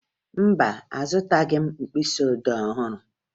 Mba, azụtaghị m mkpịsịodee ọhụrụ